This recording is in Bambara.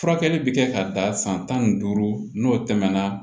Furakɛli bɛ kɛ ka dan san tan ni duuru n'o tɛmɛna